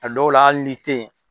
A dɔw la ali n'i ten yen.